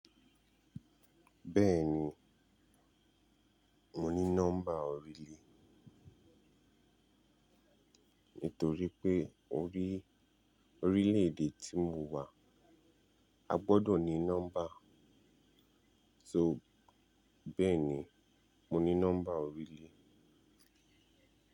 Bẹ́ẹ̀ni, mo ní nọ́mbà orílè. Nítorí pé orí, orílẹ̀ èdè tí mo wà, a gbọdọ̀ ní nọ́mbà. So, bẹ́ẹ̀ni, mo ní nọ́mbà orílè.